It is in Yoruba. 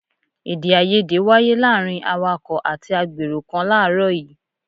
Èdè-áiyedé wáyé láàárín awàkọ̀ àti àgbèrò kan láàrọ́ yìí.